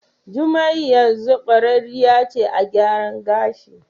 Jumai yanzu kwararriya ce a gyaran gashi.